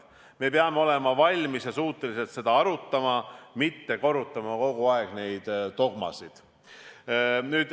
Me peame olema valmis ja suutelised seda arutama, mitte korrutama kogu aeg neid dogmasid.